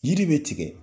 Yiri bɛ tigɛ